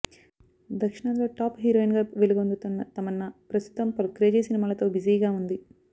దక్షిణాదిలో టాప్ హీరోయిన్గా వెలుగొందుతోన్న తమన్నా ప్రస్తుతం పలు క్రేజీ సినిమాలతో బిజీగా వుంది